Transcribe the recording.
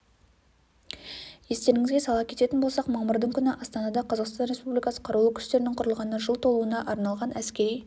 естеріңізге сала кететін болсақ мамырдың күні астанада қазақстан республикасы қарулы күштерінің құрылғанына жыл толуына арналған әскери